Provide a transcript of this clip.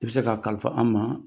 I bɛ se k'a kalifa an ma